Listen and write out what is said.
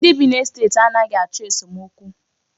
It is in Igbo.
Ndị bi n'estet a naghị achọ esomokwu.